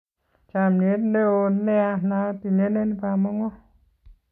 Chamyet newon nea natinyenen bamongo